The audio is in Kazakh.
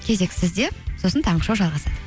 кезек сізде сосын таңғы шоу жалғасады